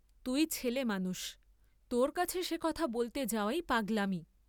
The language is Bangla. তুই ছেলে মানুষ, তোর কাছে সে কথা বলতে যাওয়াই পাগলামি?